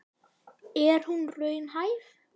En er hún raunhæf?